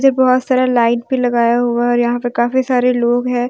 जब बहोत सारा लाइट भी लगाया हुआ है और यहां पे काफी सारे लोग है।